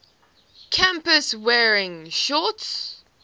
campus wearing shorts